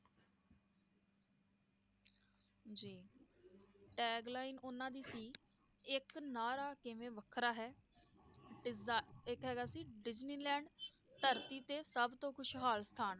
tagline ਉਹਨਾਂ ਦੀ ਸੀ, ਇਕ ਨਾਅਰਾ ਕਿਵੇਂ ਵੱਖਰਾ ਹੈ ਇਕ ਹੈਗਾ ਸੀ ਡਿਜਨੀਲੈਂਡ ਧਰਤੀ ਤੇ ਸਬਤੋਂ ਖੁਸ਼ਹਾਲ ਸਥਾਨ